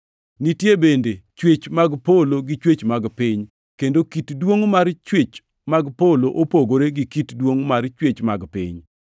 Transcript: Nitie bende chwech mag polo gi chwech mag piny, kendo kit duongʼ mar chwech mag polo opogore gi kit duongʼ mar chwech mag piny.